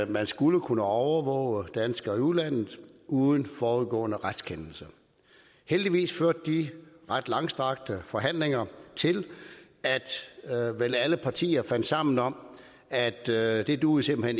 man skulle kunne overvåge danskere i udlandet uden forudgående retskendelse heldigvis førte de ret langstrakte forhandlinger til at vel alle partier fandt sammen om at det at det duede simpelt